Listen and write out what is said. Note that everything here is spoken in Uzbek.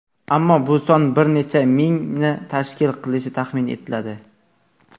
Ammo bu son bir necha mingni tashkil qilishi taxmin etladi.